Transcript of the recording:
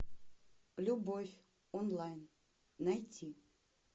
любовь онлайн найти